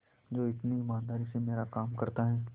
जो इतनी ईमानदारी से मेरा काम करता है